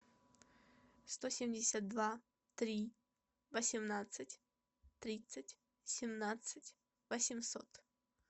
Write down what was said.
сто семьдесят два три восемнадцать тридцать семнадцать восемьсот